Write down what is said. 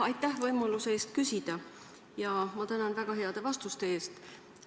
Aitäh võimaluse eest küsida ja ma tänan ka väga heade vastuste eest!